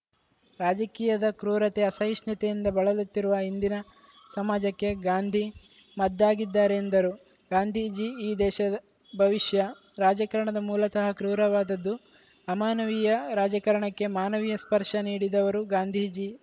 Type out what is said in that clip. ರಾಜಕೀಯದ ಕ್ರೂರತೆ ಅಸಹಿಷ್ಣುತೆಯಿಂದ ಬಳಲುತ್ತಿರುವ ಇಂದಿನ ಸಮಾಜಕ್ಕೆ ಗಾಂಧಿ ಮದ್ದಾಗಿದ್ದಾರೆ ಎಂದರು ಗಾಂಧೀಜಿ ಈ ದೇಶದ ಭವಿಷ್ಯ ರಾಜಕಾರಣದ ಮೂಲತಃ ಕ್ರೂರವಾದದ್ದು ಅಮಾನವೀಯ ರಾಜಕಾರಣಕ್ಕೆ ಮಾನವೀಯ ಸ್ಪರ್ಶ ನೀಡಿದವರು ಗಾಂಧೀಜಿ